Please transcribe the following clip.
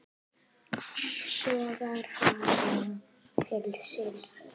Sogar hana til sín.